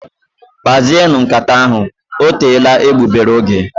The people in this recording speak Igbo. Kpazienu nkata ahụ, ọ teela egbugbere ógè